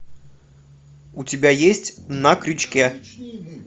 у тебя есть на крючке